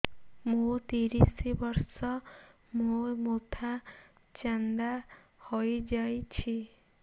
ମୋ ତିରିଶ ବର୍ଷ ମୋ ମୋଥା ଚାନ୍ଦା ହଇଯାଇଛି